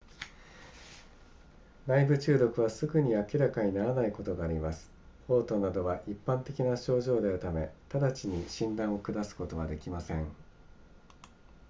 内部中毒はすぐに明らかにならないことがあります嘔吐などは一般的な症状であるため直ちに診断を下すことはできません